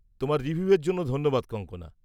তোমার রিভিউয়ের জন্য ধন্যবাদ কঙ্গনা।